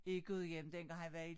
I Gudhjem dengang han var i